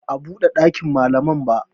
Ba a buɗe ɗakin malaman ba